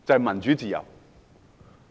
民主自由好！